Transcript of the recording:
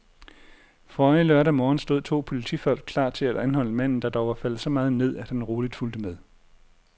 Forrige lørdag morgen stod to politifolk klar til at anholde manden, der dog var faldet så meget ned, at han roligt fulgte med.